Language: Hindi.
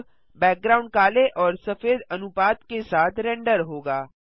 अब बैकग्राउंड काले और सफेद अनुपात के साथ रेंडर होगा